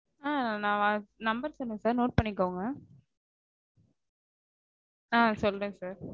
ஆஹ் நா number சொல்றேன் sir note பண்ணிக்கோங்க. ஆஹ் சொல்றேன் sir